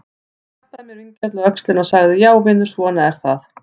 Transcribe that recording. Hann klappaði mér vingjarnlega á öxlina og sagði: Já vinur, svona er það.